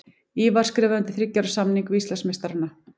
Ívar skrifaði undir þriggja ára samning við Íslandsmeistarana.